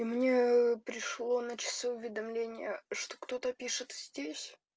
и мне пришло на часы уведомление что кто то пишет здесь